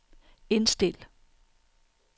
indstil